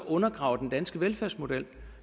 undergraver den danske velfærdsmodel